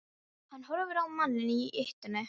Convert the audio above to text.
Hann horfir á manninn í ýtunni.